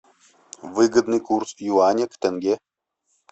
выгодный курс юаня к тенге